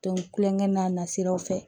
Don kulonkɛ n'a nasiraw fɛ